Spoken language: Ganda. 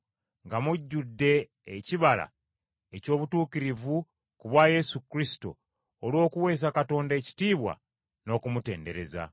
nga mujjudde ekibala eky’obutuukirivu ku bwa Yesu Kristo, olw’okuweesa Katonda ekitiibwa n’okumutendereza.